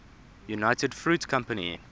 united fruit company